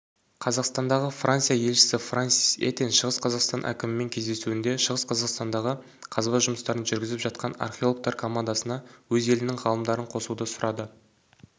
қазақстандағы франция елшісі франсис этьен шығыс қазақстан әкімімен кездесуінде шығыс қазақстандағы қазба жұмыстарын жүргізіп жатқанархеологтар командасынаөз елінің ғалымдарын қосуды сұрады